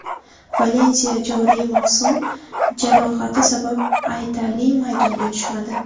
Valensiya joriy mavsum jarohati sabab aytarli maydonga tushmadi.